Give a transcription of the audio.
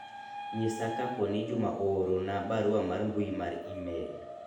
nyisa kaponi jum aoorona barua mar mbui mar email